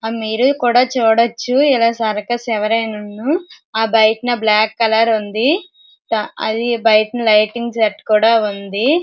ఆ మీరు కూడా చూడొచ్చు ఇలా సర్కస్ ఎవరైనా ను బయట నా బ్లాక్ కలర్ ఉంది దా అది బయట లైటింగ్ సెట్ కూడా ఉంది.